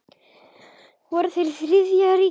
Voru þeir Þriðja ríkið?